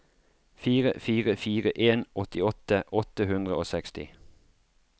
fire fire fire en åttiåtte åtte hundre og seksti